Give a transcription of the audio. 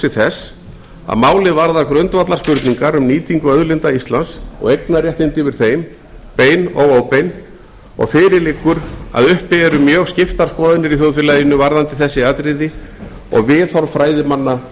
þess að málið varðar grundvallarspurningar um nýtingu auðlinda íslands og eignarréttindi yfir þeim bein og óbein og fyrir liggur að uppi eru mjög skiptar skoðanir í þjóðfélaginu varðandi þessi atriði og viðhorf fræðimanna